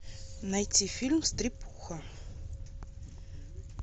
найти фильм стряпуха